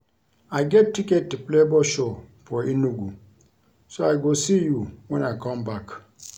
I get ticket to Flavour show for Enugu so I go see you wen I come back